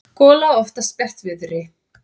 gola oftast bjartviðri.